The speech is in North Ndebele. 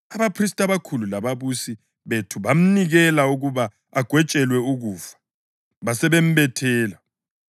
Abaphristi abakhulu lababusi bethu bamnikela ukuba agwetshelwe ukufa, basebembethela;